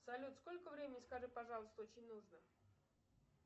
салют сколько времени скажи пожалуйста очень нужно